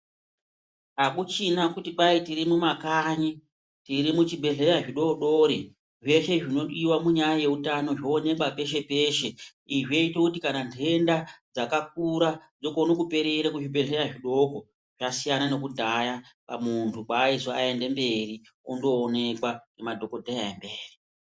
Hakuchina kuti kwai tirimumakanyi tiri muzvibhedhleya zvidodori zveshe zvinodiva munyaya yeutano zvoonekwa peshe-peshe. Izvi zvoite kuti kana nhenda dzakakura dzogone kuperere kuzvibhedhleya zvidoko. Zvasiyana nekudhaya kumuntu kwaaizi oende mberi ondoonekwa nemadhogodheya emberi.